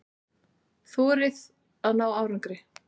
Þorið að ná árangri.